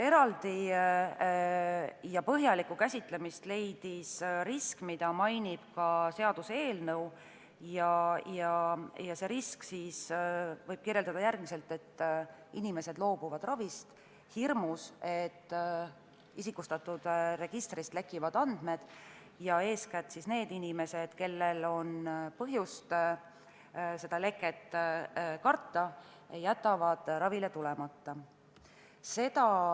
Eraldi ja põhjalikku käsitlemist leidis risk, mida mainib ka seaduseelnõu, ja mida võib kirjeldada järgmiselt: inimesed loobuvad ravist hirmu tõttu, et isikustatud registrist andmed lekivad, ja eeskätt need inimesed, kellel on põhjust leket karta, jätavad ravile tulemata.